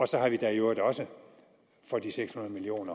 så har vi i da i øvrigt også for de seks hundrede million